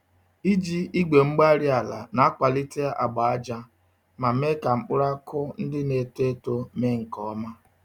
Iji igwe-mgbárí-ala nakwalite agba-ájá, ma mee ka mkpụrụ akụkụ ndị N'eto eto mee nkè ọma